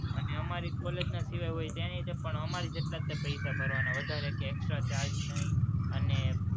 અને અમારી college ના સિવાય હોય તેનેય તે અમારી જેટલા જ પૈસા ભરવાનાં, વધારે કે extra charge નહીં અને